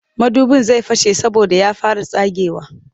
Madubin zai fashe saboda ya fara tsagewa